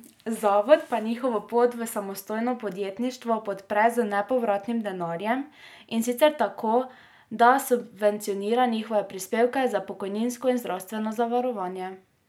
Zavod pa njihovo pot v samostojno podjetništvo podpre z nepovratnim denarjem, in sicer tako, da subvencionira njihove prispevke za pokojninsko in zdravstveno zavarovanje.